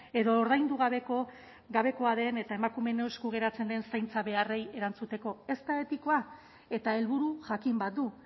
edo ordaindu gabekoa den eta emakumeen esku geratzen den zaintza beharrei erantzuteko ez da betikoa eta helburu jakin bat du